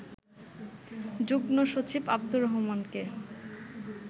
যুগ্ম সচিব আব্দুর রহমানকে